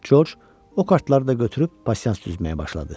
Corc o kartları da götürüb pasiyans düzməyə başladı.